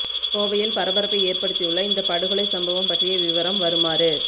கோவையில் பரபரப்பை ஏற்படுத்தியுள்ள இந்த படுகொலை சம்பவம் பற்றிய விவரம் வருமாறு